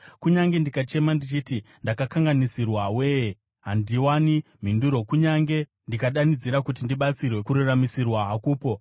“Kunyange ndikachema ndichiti, ‘Ndakakanganisirwa we-e!’ handiwani mhinduro; kunyange ndikadanidzira kuti ndibatsirwe, kururamisirwa hakupo.